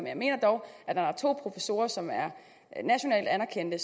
jeg mener dog at når to professorer som er nationalt anerkendte